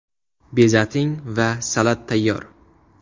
Bezating va salat tayyor.